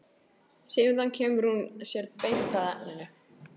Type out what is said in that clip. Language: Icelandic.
Síðan kemur hún sér beint að efninu.